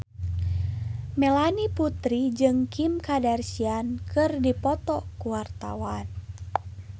Melanie Putri jeung Kim Kardashian keur dipoto ku wartawan